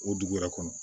O dugu yɛrɛ kɔnɔ